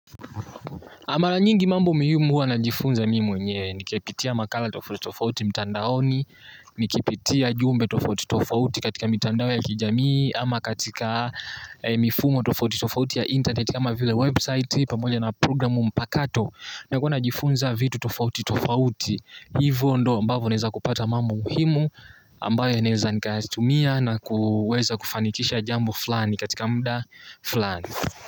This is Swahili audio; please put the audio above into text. Mara nyingi mambo muhimu huwa najifunza mi mwenyewe, nikipitia makala tofauti tofauti mitandaoni, nikipitia jumbe tofauti tofauti katika mitandao ya kijamii, ama katika mifumo tofauti tofauti ya interneti, ama vile website pamoja na program mpakato nakuwa najifunza vitu tofauti tofauti. Hivo ndo ambavo neza kupata mambo muhimu ambayo yanaeza nikahastumia na kuweza kufanikisha jambo flani katika mda flani.